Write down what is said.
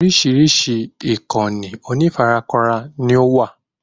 Orísìí ìkànnì onífarakínra ni ówà